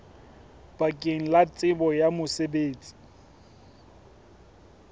bakeng la tsebo ya mosebetsi